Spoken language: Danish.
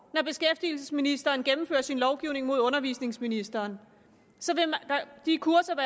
når beskæftigelsesministeren gennemfører sin lovgivning mod undervisningsministeren de kurser